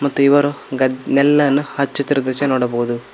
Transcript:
ಮತ್ತು ಇವರು ಗದ್ ನೆಲ್ಲನ್ನು ಹಚ್ಚುತ್ತಿರುವ ದೃಶ್ಯ ನೋಡಬಹುದು.